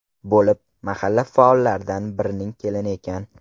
bo‘lib, mahalla faollaridan birining kelini ekan.